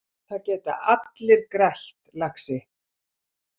Það geta allir grætt, lagsi.